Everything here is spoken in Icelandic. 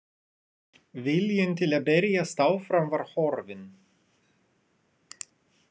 Viljinn til að berjast áfram var horfinn.